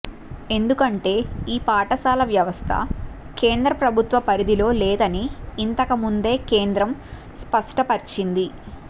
ఎందుకంటే ఈ పాఠశాల వ్యవస్థ కేంద్ర ప్రభుత్వ పరిధిలో లేదని ఇంతకుముందే కేంద్రం స్పష్టపర్చింది